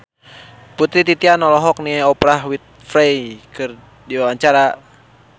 Putri Titian olohok ningali Oprah Winfrey keur diwawancara